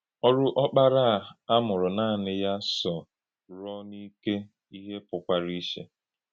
Ọrụ̀ Ọ́kpárá à a mụrụ̀ nànì yá sò rùọ̀ n’ìké íhè pụ̀kwara ìchè.